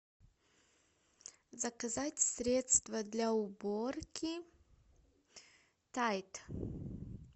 заказать средство для уборки тайд